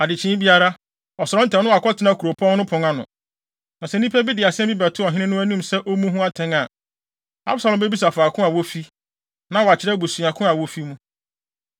Adekyee biara, ɔsɔre ntɛm na wakɔtena kuropɔn no pon ano. Na sɛ nnipa bi de asɛm bɛto ɔhene no anim sɛ ommu ho atɛn a, Absalom bebisa faako a wofi, na wɔakyerɛ abusuakuw a wofi mu.